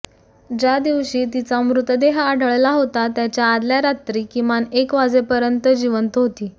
ज्या दिवशी तिचा मृतदेह आढळला होता त्याच्या आदल्या रात्री किमान एक वाजेपर्यंत जिवंत होती